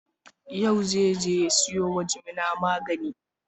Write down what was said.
Yau zai je ya sayo wa jimina magani.